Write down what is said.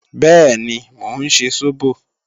Bẹ́ẹ̀ni, mò ń ṣe sóbò